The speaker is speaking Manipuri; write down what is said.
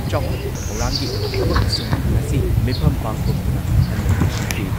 ꯆꯥꯎꯈꯠ ꯊꯧꯔꯥꯡꯒꯤ ꯊꯕꯛꯁꯤꯡ ꯉꯁꯤ ꯃꯤꯐꯝ ꯄꯥꯡꯊꯣꯛꯇꯨꯅ ꯍꯟꯅ ꯌꯦꯡꯁꯤꯟꯈꯤ꯫